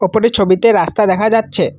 ওপরের ছবিতে রাস্তা দেখা যাচ্ছে।